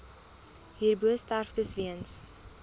hierbo sterftes weens